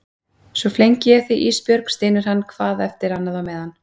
Svona flengi ég þig Ísbjörg, stynur hann hvað eftir annað á meðan.